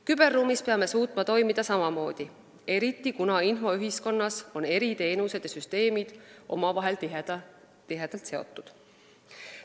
Küberruumis peame suutma toimida samamoodi, sest infoühiskonnas on eri teenused ja süsteemid omavahel tihedalt seotud.